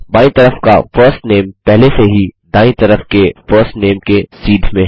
बायीं तरफ का फर्स्ट नामे पहले से ही दायीं तरफ के फर्स्ट नामे के सीध में है